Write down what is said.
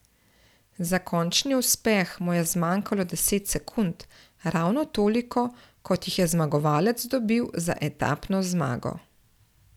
Za končni uspeh mu je zmanjkalo deset sekund, ravno toliko, kot jih je zmagovalec dobil za etapno zmago.